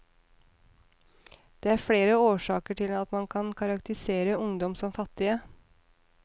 Det er flere årsaker til at man kan karakterisere ungdom som fattige.